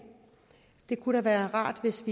det kunne da være rart hvis